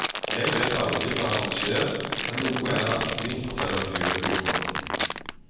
Jeg vet aldri hva som skjer, men noe er det alltid, forteller miljøbyråden.